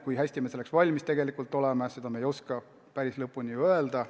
Kui hästi me selleks valmis oleme, seda me ei oska päris lõpuni ju öelda.